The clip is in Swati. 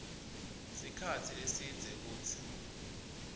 sikhatsi lesidze kutsi